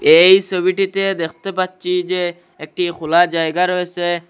এই ছবিটিতে দেখতে পাচ্ছি যে একটি খুলা জায়গা রয়েসে।